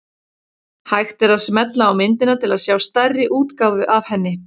Hægt er að smella á myndina til að sjá stærri útgáfu af henni.